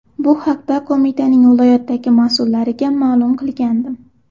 Bu haqda qo‘mitaning viloyatdagi mas’ullariga ma’lum qilgandim.